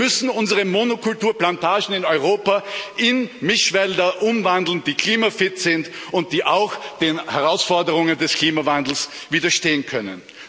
Wir müssen unsere Monokulturplantagen in Europa in Mischwälder umwandeln, die klimafit sind und die auch den Herausforderungen des Klimawandels widerstehen können.